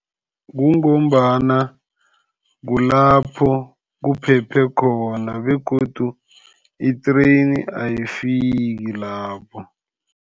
Kungombana kulapho kuphephe khona begodu i-train ayifiki lapho.